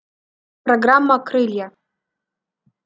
программа крылья